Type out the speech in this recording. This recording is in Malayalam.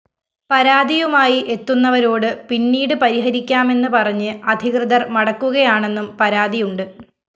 പരാതിയുമായി എത്തുന്നവരോട് പിന്നീട് പരിഹരിക്കാമെന്ന് പറഞ്ഞ് അധികൃതര്‍ മടക്കുകയാണെന്നും പരാതിയുണ്ട്